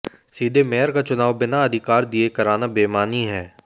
सीधे मेयर का चुनाव बिना अधिकार दिये कराना बेमानी है